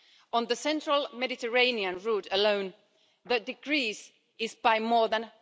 On the central Mediterranean route alone, the decrease is by more than